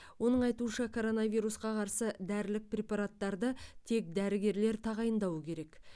оның айтуынша коронавирусқа қарсы дәрілік препараттарды тек дәрігерлер тағайындауы керек